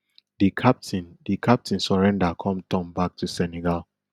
di captain di captain surrender come turn back to senegal